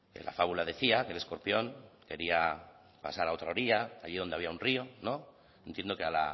en la fábula decía que el escorpión quería pasar a otra orilla allí donde había un río no entiendo que a